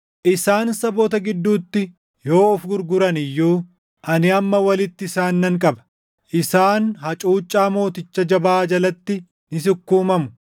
Isaan saboota gidduutti yoo of gurguran iyyuu ani amma walitti isaan nan qaba. Isaan hacuuccaa mooticha jabaa jalatti ni sukkuumamu.